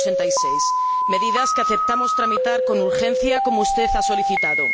186 medidas que aceptamos tramitar con urgencia como usted ha solicitado.